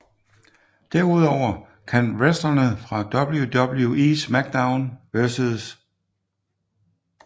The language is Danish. Derudover kan wrestlerne fra WWE SmackDown vs